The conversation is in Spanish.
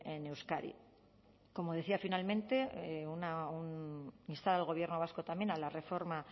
en euskadi como decía finalmente instar al gobierno vasco también a la reforma